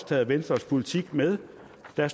taget venstres politik med der